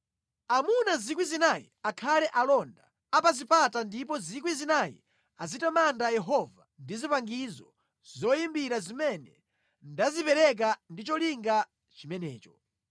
Amuna 4,000 akhale alonda a pa zipata ndipo 4,000 azitamanda Yehova ndi zipangizo zoyimbira zimene ndazipereka ndi cholinga chimenecho.”